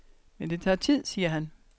Men det tager tid, siger han.